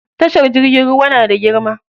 Tashar jirgin ruwa na da girma.